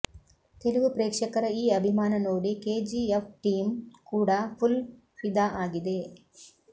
ತೆಲುಗು ಪ್ರೇಕ್ಷಕರ ಈ ಅಭಿಮಾನ ನೋಡಿ ಕೆಜಿಎಫ್ ಟೀಂ ಕೂಡ ಫುಲ್ ಫಿದಾ ಆಗಿದೆ